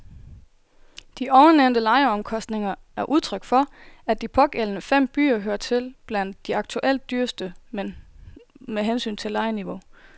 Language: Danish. De ovennævnte lejeomkostninger er udtryk for, at de pågældende fem byer hører til blandt de aktuelt dyreste med hensyn til lejeniveau.